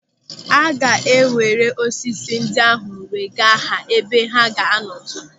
Aga ewere osisi ndị ahụ wee gaa ha ebe ha ga-anọ too.